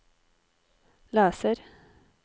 leser